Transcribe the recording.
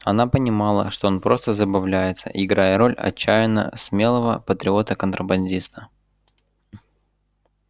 она понимала что он просто забавляется играя роль отчаянно смелого патриота-контрабандиста